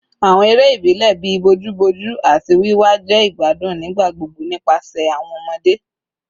Awọn ere ibilẹ bii bojuboju ati wiwa jẹ igbadun nigbagbogbo nipasẹ awọn ọmọde